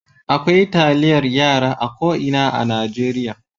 Akwai taliyar yara a ko ina a Najeriya.